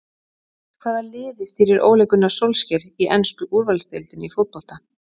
Hvaða liði stýrir Ole Gunnar Solskjær í ensku úrvalsdeildinni í fótbolta?